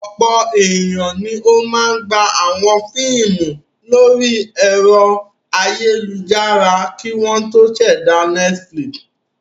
Ọ̀pọ̀ ènìyàn ni ó máa gba àwọn fíímù lórí ẹ̀rọ ayélujára kí wọ́n tó ṣẹ̀dá Netflix.